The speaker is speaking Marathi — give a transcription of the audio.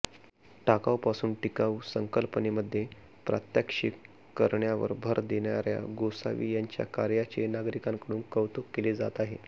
टाकाऊपासून टिकाऊ संकल्पनेमध्ये प्रात्यक्षिक करण्यावर भर देणाऱ्या गोसावी यांच्या कार्याचे नागरिकांकडून कौतुक केले जात आहे